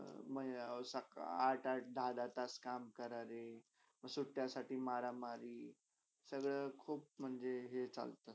म सकाळ आठ -आठ, दहा - दहा तास काम करारे म सुट्यासाठी मारा - मारी तर खूप म्हणजे हे चालता.